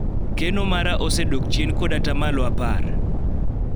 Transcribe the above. keno mara osedok chien kod atamalo apar